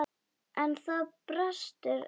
En það brestur ekki.